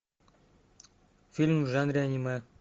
фильм в жанре аниме